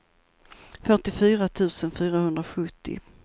fyrtiofyra tusen fyrahundrasjuttio